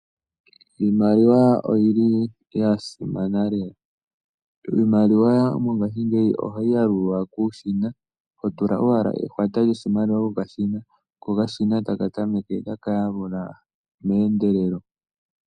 Iimaliwa oyi li ya simana lela. Iimaliwa mongashingeyi ohayi yalulwa kuushina, ho tula owala ehwata lyoshimaliwa kokashina, ko okashina taka tameke taka yalula meendelelo.